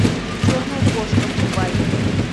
черная кошка врубай